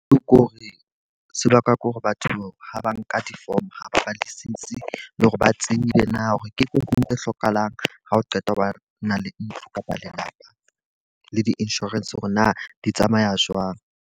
Ke hore se bakwa ke hore batho ha ba nka di-form ha ba badisisi le hore ba tsebile na hore ke tse hlokahalang ha o qeta ho ba na le ntlo kapa lelapa. Le di-insurance hore na di tsamaya jwang.